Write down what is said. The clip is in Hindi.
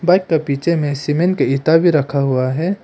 बाइक का पीछे में सीमेंट की ईटा भी रखा हुआ है।